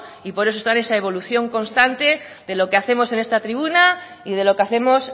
y por eso están en esa evolución constante de lo que hacemos en esta tribuna y de lo que hacemos